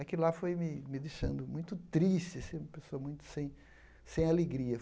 Aquilo lá foi me me deixando muito triste, assim, uma pessoa muito sem sem alegria.